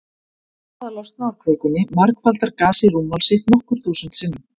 Við það að losna úr kvikunni margfaldar gasið rúmmál sitt nokkur þúsund sinnum.